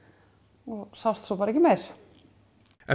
og sást svo ekki meir eftir